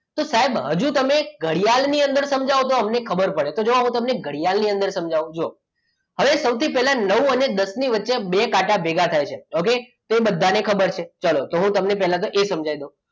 તો સાહેબ હજુ તમે ઘડિયાળની અંદર સમજાવો તો અમને ખબર પડે તો જુઓ હું તમને ઘડિયાળની અંદર સમજાવું તો જુઓ હવે સૌથી પહેલાં નવ અને દસ ની વચ્ચે બે કાંટા ભેગા થાય છે okay તો એ બે બધાને ખબર છે તો હું તમને પહેલા એ સમજાવી દઉં